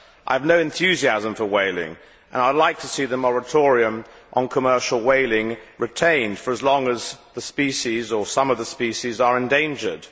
I have no enthusiasm for whaling, and I would like to see the moratorium on commercial whaling retained for as long as the species, or some of the species, are endangered.